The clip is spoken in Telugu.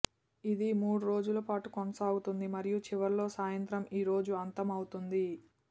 ఇది మూడు రోజుల పాటు కొనసాగుతుంది మరియు చివరిలో సాయంత్రం ఈ రోజు అంతం అవుతుంది